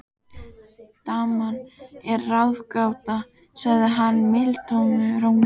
Daman er ráðgáta, sagði hann mildum rómi.